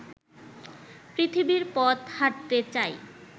পৃথিবীর পথ হাঁটতে চাই